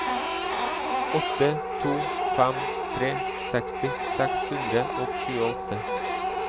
åtte to fem tre seksti seks hundre og tjueåtte